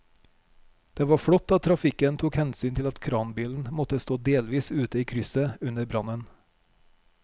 Det var flott at trafikken tok hensyn til at kranbilen måtte stå delvis ute i krysset under brannen.